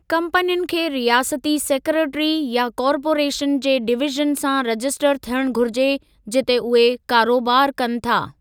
कम्पनियुनि खे रियासती सेक्रेटरी या कॉर्पोरेशन जे डिवीज़न सां रजिस्टर थियणु घुरिजे जिते उहे कारोबार कनि था।